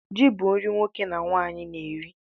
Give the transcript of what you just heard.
Ji bu nri nwoke na nwanyi na-eri